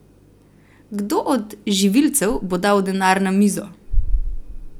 Kdo od živilcev bo dal denar na mizo?